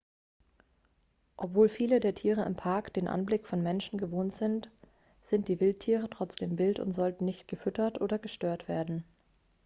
obwohl viele der tiere im park den anblick von menschen gewohnt sehen sind die wildtiere trotzdem wild und sollten nicht gefüttert oder gestört werden